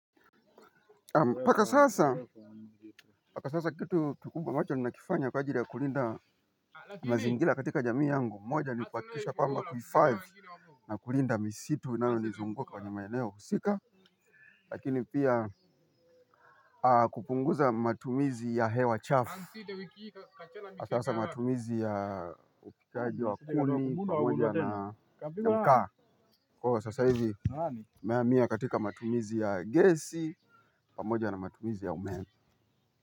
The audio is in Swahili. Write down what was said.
Mpaka sasa, mpaka sasa kitu kikubwa ambacho nina kifanya kwa ajili ya kulinda mazingira katika jamii yangu, moja nikuhakikisha kwamba kuhifadhi, na kulinda misitu, inayo nizunguka kwenye maeneo husika. Lakini pia, kupunguza matumizi ya hewa chafu, hasasa matumizi ya upikaji wa kuni, pamoja na makaa. Kwa ivo sasa hizi, nimehamia katika matumizi ya gesi, pamoja na matumizi ya umeme.